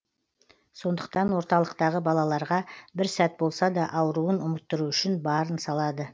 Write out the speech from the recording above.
сондықтан орталықтағы балаларға бір сәт болса да ауруын ұмыттыру үшін барын салады